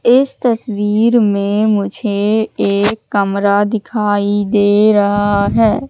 इस तस्वीर मे मुझे एक कमरा दिखाई दे रहा है।